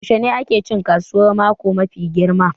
Yaushe ne ake cin kasuwar mako mafi girma